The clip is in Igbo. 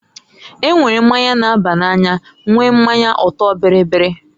E nwere mmanya na-aba n'anya nwee mmanya ọtọ-bịrịbịrị.